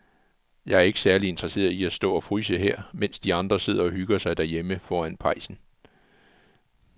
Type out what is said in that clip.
Jeg er ikke særlig interesseret i at stå og fryse her, mens de andre sidder og hygger sig derhjemme foran pejsen.